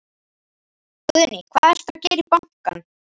Guðný: Hvað ertu að gera í bankann?